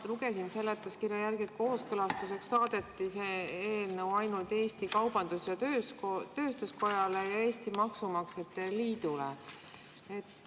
Ma lugesin seletuskirjast, et kooskõlastuseks saadeti see eelnõu ainult Eesti Kaubandus-Tööstuskojale ja Eesti Maksumaksjate Liidule.